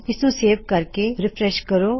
ਇਸਨੂੰ ਸੇਵ ਕਰਕੇ ਰਿਫਰੈੱਸ਼ ਕਰੋ